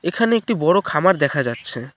এখানে একটি বড় খামার দেখা যাচ্ছে।